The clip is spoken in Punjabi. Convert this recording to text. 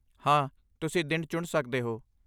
ਹਾਂ, ਤੁਸੀਂ ਦਿਨ ਚੁਣ ਸਕਦੇ ਹੋ।